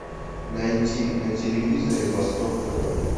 найти на телевизоре восток тв